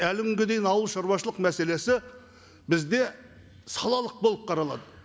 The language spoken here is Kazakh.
әлі күнге дейін ауыл шаруашылық мәселесі бізде салалық болып қаралады